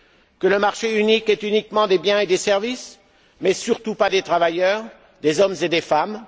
Que le marché unique est uniquement celui des biens et des services, mais surtout pas des travailleurs, des hommes et des femmes?